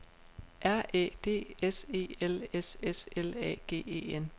R Æ D S E L S S L A G E N